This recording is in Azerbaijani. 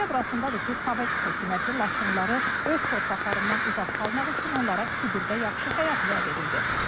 Məsələ burasındadır ki, Sovet hökuməti Laçınlıları öz torpaqlarından uzaq salmaq üçün onlara Sibirdə yaxşı həyat vəd edirdi.